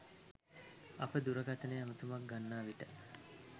අප දුරකථන ඇමැතුමක් ගන්නා විට